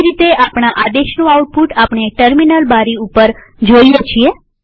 તેવી રીતે આપણા આદેશનું આઉટપુટ આપણે ટર્મિનલ બારી ઉપર જ જોઈએ છીએ